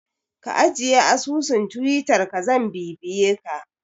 Ka ajiye asusun Twittar ka zan bibiye ka